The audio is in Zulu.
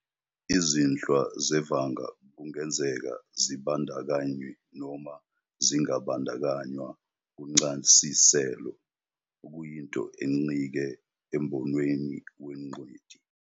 Izinhlwa zevanga kungenzeka zibandakanywe noma zingabandakanywa kuncasiselo, okuyinto encike embonweni wengcweti.